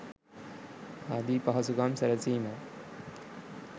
ආදී පහසුකම් සැලසීමයි.